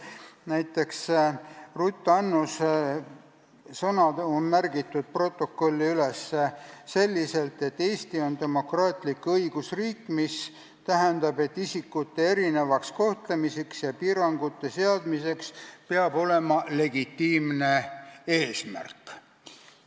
Näiteks Ruth Annuse sõnad on protokolli üles märgitud selliselt, et Eesti on demokraatlik õigusriik, mis tähendab, et isikute erinevaks kohtlemiseks ja piirangute seadmiseks peab olema legitiimne eesmärk.